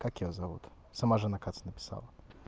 как её зовут сама же на кац написала